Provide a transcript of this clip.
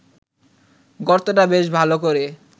গর্তটা বেশ ভালো করে